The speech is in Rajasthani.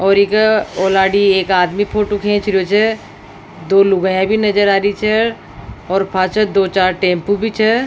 और इके ओलार्डी एक आदमी फोटो खींच रियो छे दो लुगाईया भी नज़र आ रही छे और पाछे दो चार टेम्पू भी छे।